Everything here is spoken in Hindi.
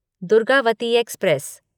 दुर्गावती एक्सप्रेस